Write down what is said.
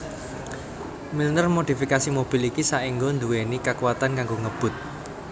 Milner modifikasi mobil iki saéngga nduweni kakuwatan kanggo ngebut